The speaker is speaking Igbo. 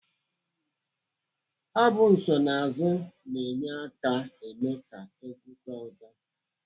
Abụ nsonaazu na-enye aka eme ka egwu tọọ ụtọ.